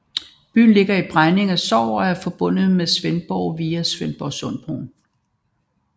Byen ligger i Bregninge Sogn og er forbundet med Svendborg via Svendborgsundbroen